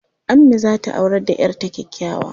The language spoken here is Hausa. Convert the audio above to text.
Ammi za ta aurar da 'yar ta kyakkyawa.